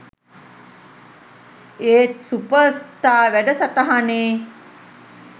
ඒත් super star වැඩසටහනේ